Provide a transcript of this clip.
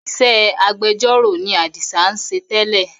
Ìṣe agbẹjọ́ró ni adisa ń ṣe tẹ́lẹ̀